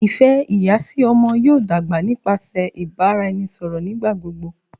ifẹ iya si ọmọ yoo dagba nipasẹ ibaraẹnisọrọ nigbagbogbo